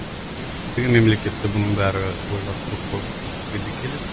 көптеген мемлекетте бұның бәрі ойластырылып қойған бізге де келеді